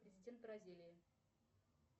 президент бразилии